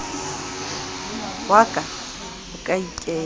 wa ka o ka ikela